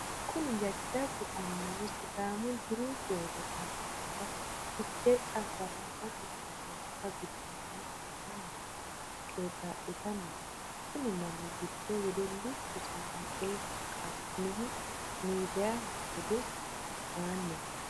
Kunni jajabu annuwa sidaamu diru sooro ayaannira fichee cambaalallate sooresa gudumale hadhanni qeexalitanni no. Konni manni gido wedelichu saamueli qaamehu miidiyaho hedosi aanni no.